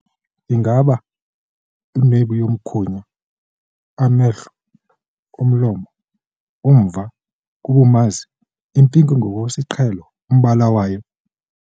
Ingaba inwebu yomkhunya amehlo, umlomo, umva, kubumazi ipinki ngokwesiqhelo umbala wayo?